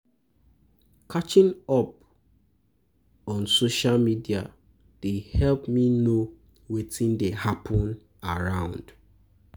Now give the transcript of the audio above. Catching up on social media dey help me know wetin dey hapun around.